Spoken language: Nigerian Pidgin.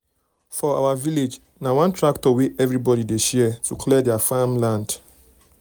for our village na one tractor wey everybody dey share to clear their farm land.